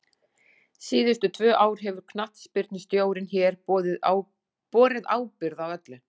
Síðustu tvö ár hefur knattspyrnustjórinn hér borið ábyrgð á öllu.